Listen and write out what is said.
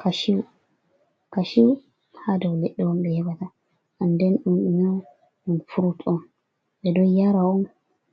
Kashu, kashu ha dow leɗɗe on ɓe heɓata an den ɗum ɗume on? ɗum frut on ɓe ɗo yara on